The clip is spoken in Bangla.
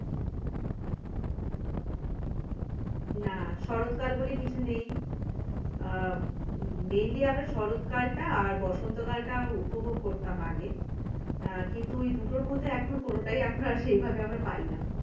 না শরৎ কাল বলে কিছু নেই আহ mainly আমরা শরৎ কাল টা আর বসন্ত কাল টা উপভোগ করতাম আগে আহ কিন্তু ওই দুটোর মধ্যে এখন কোনটাই এখন আর সেইভাবে আর পাই না।